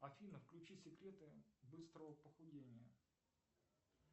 афина включи секреты быстрого похудения